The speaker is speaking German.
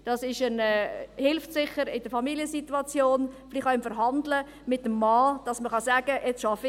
Das hilft sicher in der Familiensituation, vielleicht auch beim Verhandeln mit dem Mann, dass man sagen kann: